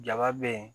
Jaba be yen